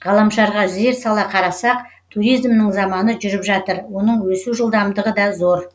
ғаламшарға зер сала қарасақ туризмнің заманы жүріп жатыр оның өсу жылдамдығы да зор